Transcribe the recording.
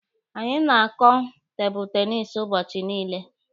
Anyị na-akụ tebụlụ tenisi ụbọchị niile.